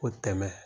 O tɛmɛ